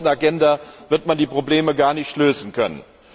Bei der großen Agenda wird man die Probleme gar nicht lösen können.